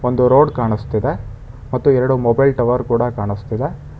ಒಂದು ರೋಡ್ ಕಾಣಿಸ್ತಿದೆ ಮತ್ತು ಎರಡು ಮೊಬೈಲ್ ಟವರ್ ಕೂಡ ಕಾಣಿಸ್ತಿದೆ.